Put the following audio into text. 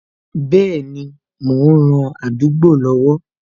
Bẹẹni, mo ń ran àdúgbò lọ́wọ́